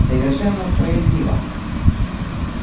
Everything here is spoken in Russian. совершенно справедливо